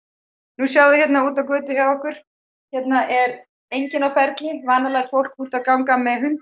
nú sjáið þið hérna út á götu hjá okkur hérna er enginn á ferli vanalega er fólk úti að ganga